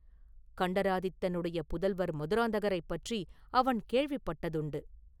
கண்டராதித்தனுடைய புதல்வர் மதுராந்தகரைப் பற்றி அவன் கேள்விப்பட்டதுண்டு.